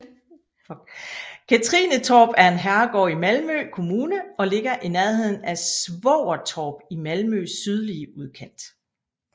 Katrinetorp er en herregård i Malmø Kommune og ligger i nærheden af Svågertorp i Malmøs sydlige udkant